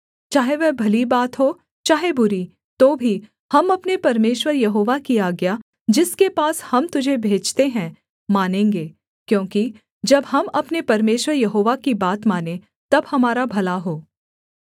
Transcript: चाहे वह भली बात हो चाहे बुरी तो भी हम अपने परमेश्वर यहोवा की आज्ञा जिसके पास हम तुझे भेजते हैं मानेंगे क्योंकि जब हम अपने परमेश्वर यहोवा की बात मानें तब हमारा भला हो